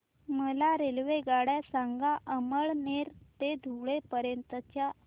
मला रेल्वेगाड्या सांगा अमळनेर ते धुळे पर्यंतच्या